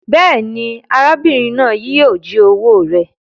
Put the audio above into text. Béèni, arábìrin náà yio ji owó rẹ